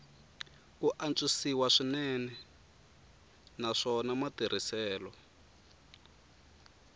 ku antswisiwa swinene naswona matirhiselo